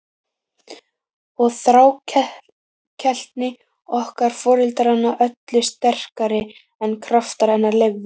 Og þrákelkni okkar foreldranna öllu sterkari en kraftar hennar leyfðu.